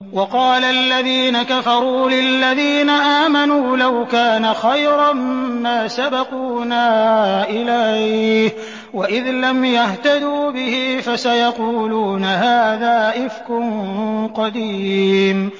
وَقَالَ الَّذِينَ كَفَرُوا لِلَّذِينَ آمَنُوا لَوْ كَانَ خَيْرًا مَّا سَبَقُونَا إِلَيْهِ ۚ وَإِذْ لَمْ يَهْتَدُوا بِهِ فَسَيَقُولُونَ هَٰذَا إِفْكٌ قَدِيمٌ